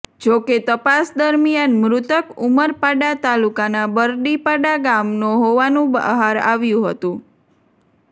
જોકે તપાસ દરમિયાન મૃતક ઉમરપાડા તાલુકાના બરડી પાડા ગામનો હોવાનું બહાર આવ્યું હતું